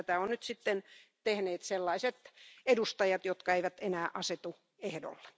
Tätä ovat sitten tehneet sellaiset edustajat, jotka eivät enää asetu ehdolle.